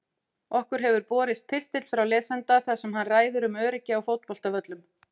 Okkur hefur borist pistill frá lesanda þar sem hann ræðir um öryggi á fótboltavöllum.